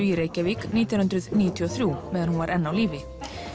í Reykjavík nítján hundruð níutíu og þrjú meðan hún var enn á lífi